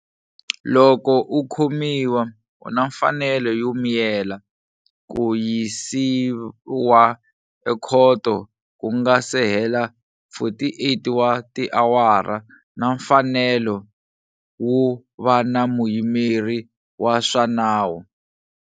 Loko u khomiwa, u na mfanelo yo miyela, ku yisiwa ekhoto ku nga si hela 48 wa tiawara na mfanelo wo va na muyimeri wa swa na nawu.